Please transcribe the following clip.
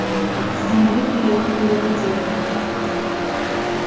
с земли приехали роботехники